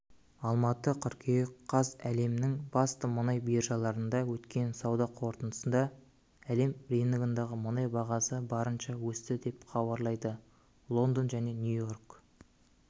алматы қыркүйек қаз әлемнің басты мұнай биржаларында өткен сауда қортындысында әлем рыногындағы мұнай бағасы барынша өсті деп хабарлайды лондон және нью-йорк